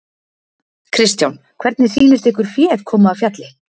Kristján: Hvernig sýnist ykkur féð koma af fjalli?